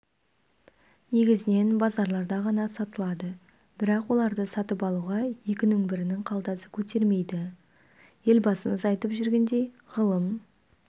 негізінен базарларда ғана сатылады бірақ оларды сатып алуға екінің бірінің қалтасы көтермейді елбасымыз айтып жүргендей ғылым